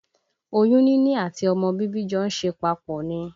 Oyún níní àti ọmọ bíbí jọ ń ṣe papọ̀ ni